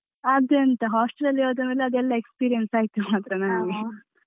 ಎಂತ hostel ಲಲ್ಲಿ ಹೋದ್ಮೇಲೆ ಅದೆಲ್ಲ experience ಆಯ್ತು ಮಾತ್ರ ನಮ್ಗೆ.